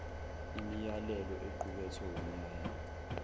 imiyalelo equkethwe wumyalelo